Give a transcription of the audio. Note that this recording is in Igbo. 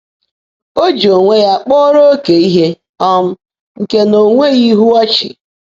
Ọ̀ jị óńwé yá kpọ́ọ́ró óké íhe um nkè ná ó nwèghị́ íhú ọ́chị́?